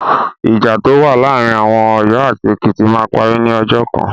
Ìjà tó wà láàárí àwọn Ọ̀yọ́ àti Ekìtì máa parí ní ọjọ́ kan.